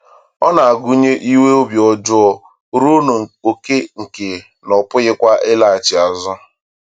Ọ na-agụnye inwe obi ọjọọ ruo n’oke nke na a pụkwaghị ịlaghachi azụ.